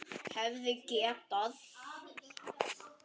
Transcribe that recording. Hefði getað.